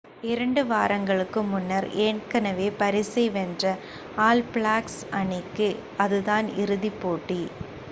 இரண்டு வாரங்களுக்கு முன்னர் ஏற்கனவே பரிசை வென்ற ஆல் பிளாக்ஸ் அணிக்கு அதுதான் இறுதி போட்டி